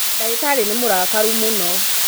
Ndagĩtarĩnĩmũrakaru mũno.